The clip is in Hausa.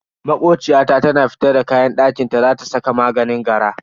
Makociya ta tana fitar da kayan dakinta za ta saka maganin gara.